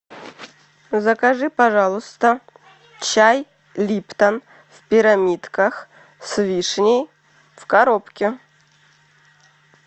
закажи пожалуйста чай липтон в пирамидках с вишней в коробке